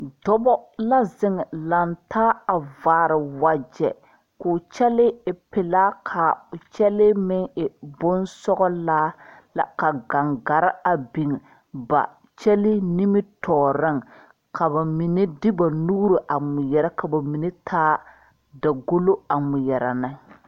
Dɔba la zeŋ laŋ taa a vaare wagyɛ k,o kyɛlee e pelaa k,o kyɛlee meŋ e bonsɔglaa la ka gangare a biŋ ba kyɛlee nimitɔɔreŋ ka ba mine de ba nuuri a ŋmeɛrɛ ka ba mine taa dagolo a ŋmeɛrɛ ne.